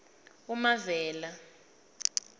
umavela